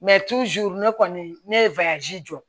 ne kɔni ne ye jɔ